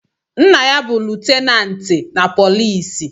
Nna ya bu lutenanti na poliisi